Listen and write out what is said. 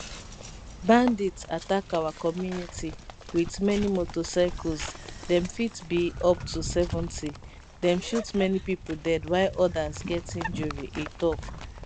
bandits attack our community wit many motorcycles dem fit be up to 70 dem shoot many pipo dead while odas get injury e tok